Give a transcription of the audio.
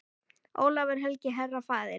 Ólafur helgi, herra, faðir.